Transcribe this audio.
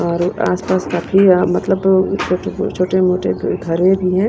और आसपास काफी मतलब अ अ छोटे-मोटे घर है।